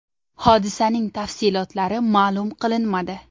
Hodisaning tafsilotlari ma’lum qilinmadi.